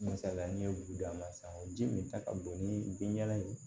Misaliya n'i ye juru don a ma san ji min ta ka don ni bin y'a ye